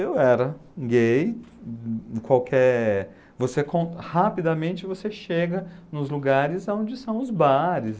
Eu era gay, e qualquer, você con, rapidamente, você chega nos lugares onde são os bares.